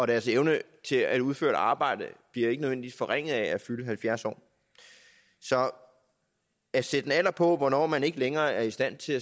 deres evne til at udføre et arbejde bliver ikke nødvendigvis forringet af at fylde halvfjerds år så at sætte en alder på hvornår man ikke længere er i stand til